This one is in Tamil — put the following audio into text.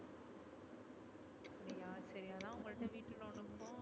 அப்டியா சரி அதா உங்கள்ட வீடு loan க்கும் car loan